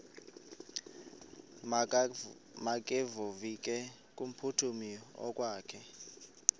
makevovike kumphuthumi okokwakhe